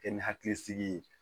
Kɛ ni hakilisigi ye